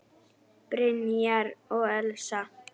Brynjar og Elsa.